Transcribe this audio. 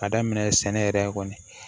Ka daminɛ sɛnɛ yɛrɛ kɔni